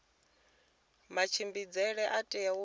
matshimbidzele a tea u itiwa